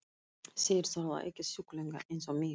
Þeir þola ekki sjúklinga eins og mig.